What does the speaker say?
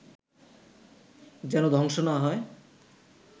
যেন ধ্বংস না হয়